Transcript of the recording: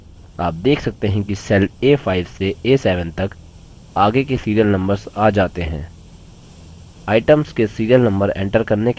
आप देख सकते हैं कि cells a5 से a7 तक आगे के serial numbers आ जाते हैं